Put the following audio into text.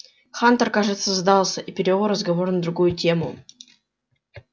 хантер кажется сдался и перевёл разговор на другую тему